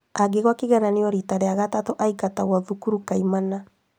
Angĩgũa kĩgeranio rĩa gatatũ aingatagwo cukuru kaimana